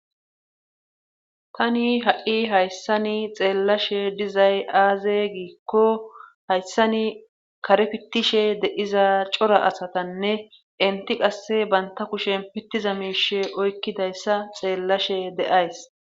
Tani ha'i hayssani xeellashe dizay aaze giikko hayssani kare pittishe deiza cora asatanne inti qasse banta kushen pittiza miishe oykkidayssa xeellashe deays.